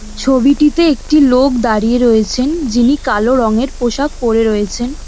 ছবিটিতে একটি লোক দাঁড়িয়ে রয়েছেন যিনি কালো রঙের পোশাক পরে রয়েছেন।